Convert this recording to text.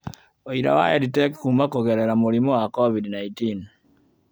Ũira wa EdTech Kuuma Kũgerera Mũrimũ wa COVID-19